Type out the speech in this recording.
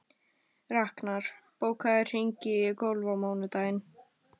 Raknar, bókaðu hring í golf á mánudaginn.